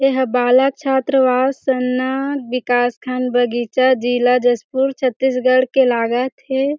एहा बालक छात्र-वास स ना विकासखण्ड बगीचा जिला जशपुर छत्तीसगढ़ के लागत हे।